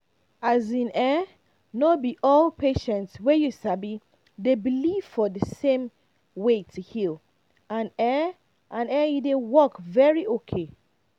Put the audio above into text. as in[um]no be all patient way you sabi dey believe for the same way to heal and e and e dey work very okay